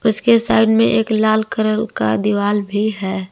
इसके साइड में एक लाल कलर का दिवाल भी है।